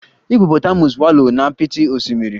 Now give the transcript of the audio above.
Hippopotamus wallow na apịtị osimiri.